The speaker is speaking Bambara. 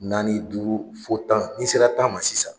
Naani duuru fɔ tan, n'i sera tan ma sisan